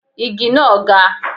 Igi náà ga.